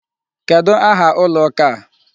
Kedụ aha ụlọ ụka a?